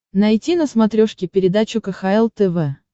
найти на смотрешке передачу кхл тв